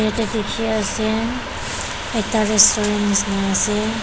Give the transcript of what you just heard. ete dekhe ase ekta restaurant nesina ase.